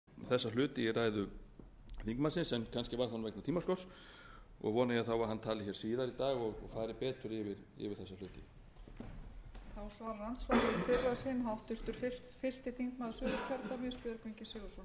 frú forseti það var ýmislegt gert að minnsta kosti á þeim tíma sem ég var þarna til að koma böndum á þróunina eitt dæmi um